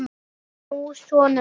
Hann er nú sonur minn.